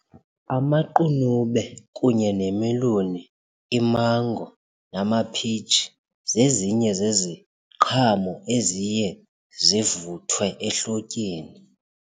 Amaqunube kunye nemeloni, imango namaphitshi zezinye zeziqhamo eziye zivuthwe ehlotyeni.